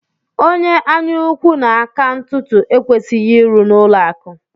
Onye anyaukwu na aka ntụtụ ekwesịghị ịrụ n'ụlọakụ